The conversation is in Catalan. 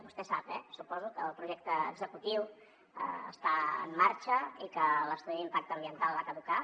vostè sap eh suposo que el projecte executiu està en marxa i que l’estudi d’impacte ambiental va caducar